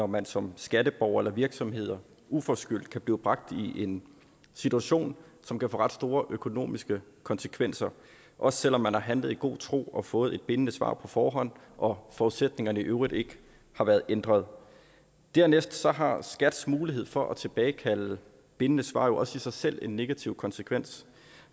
man som skatteborger eller virksomhed uforskyldt kan blive bragt i en situation som kan få ret store økonomiske konsekvenser også selv om man har handlet i god tro og har fået et bindende svar på forhånd og forudsætningerne i øvrigt ikke har været ændret dernæst har skats mulighed for at tilbagekalde bindende svar jo også i sig selv en negativ konsekvens